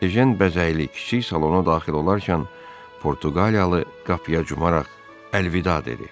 Ejen bəzəkli kiçik salona daxil olarkən Portuqaliyalı qapıya cumaraq əlvida dedi.